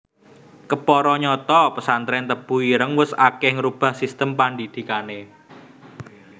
Kepara nyata pesantrèn Tebu Ireng wus akèh ngrubah sistem pandhidhikané